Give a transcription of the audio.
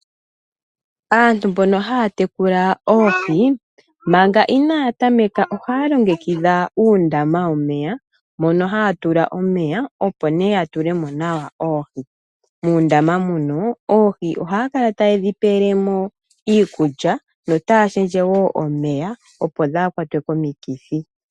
Aantu mbono haya tekula oohi manga inayatameka ohaya longekidha uundama womeya mono haya tula mo omeya opo nee ya tule mo nawa oohi, muundama mono oohi ohayakala taye dhi pelemo iikulya yo taya shendjewo omeya opo dha a kwatwe komikithi.